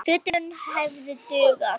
Fötin hefðu dugað.